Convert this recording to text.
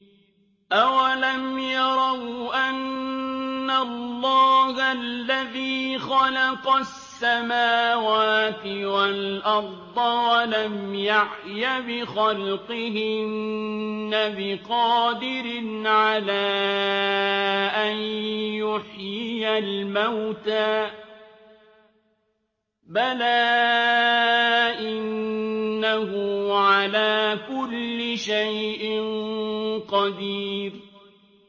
أَوَلَمْ يَرَوْا أَنَّ اللَّهَ الَّذِي خَلَقَ السَّمَاوَاتِ وَالْأَرْضَ وَلَمْ يَعْيَ بِخَلْقِهِنَّ بِقَادِرٍ عَلَىٰ أَن يُحْيِيَ الْمَوْتَىٰ ۚ بَلَىٰ إِنَّهُ عَلَىٰ كُلِّ شَيْءٍ قَدِيرٌ